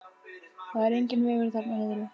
Það er enginn vegur þarna niðri.